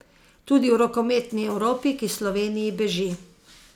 Tudi v rokometni Evropi, ki Sloveniji beži.